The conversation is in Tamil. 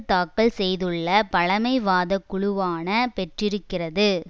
தாக்கல் செய்துள்ள பழமைவாத குழுவான பெற்றிருக்கிறது